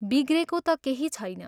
बिग्रेको ता केही छैन।